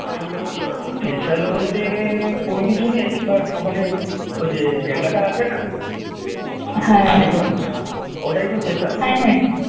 special বলতে কোনো কিছুই নেই but ওখানে ওই যে জায়গাটা আছে না টালিগঞ্জ ওটাই তো special